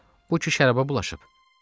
Ağa, bu ki şərabə bulaşıb!